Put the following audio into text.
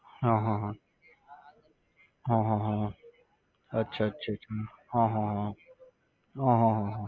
હા હા હા. હા હા હા હા. અચ્છા અચ્છા અચ્છા. હા હા હા હા. હ હ હ હ